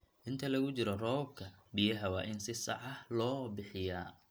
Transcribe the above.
Inta lagu jiro roobabka, biyaha waa in si sax ah loo bixiyaa.